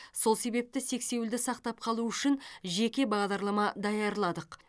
сол себепті сексеуілді сақтап қалу үшін жеке бағдарлама даярладық